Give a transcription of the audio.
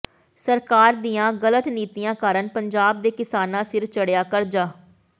ਸਰਕਾਰ ਦੀਆਂ ਗਲਤ ਨੀਤੀਆਂ ਕਾਰਨ ਪੰਜਾਬ ਦੇ ਕਿਸਾਨਾਂ ਸਿਰ ਚੜਿਆ ਕਰਜ਼ਾ